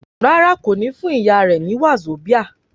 Rárá, kò ní fún ìyá rẹ ní wàzóbía